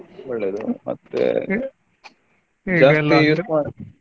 ಒಳ್ಳೇದು ಮತ್ತೆ ಜಾಸ್ತಿ use ಮಾಡಿ.